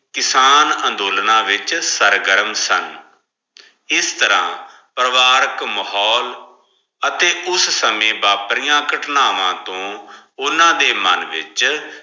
ਕਿਸਾਨ ਅੰਦੋਲਨਾ ਵਿਚ ਸਰ੍ਘਰਮ ਸਨ ਇਸ ਤਰਹ ਪਾਗਾਰਖ ਮਾਹੋਲ ਅਤੀ ਉਸ ਸੰਯ ਬਾਪ੍ਰਿਯਾਂ ਕਾਤ੍ਨਾਵਾ ਠੋੰ ਓਨਾ ਦੇ ਮਨ ਵਿਚ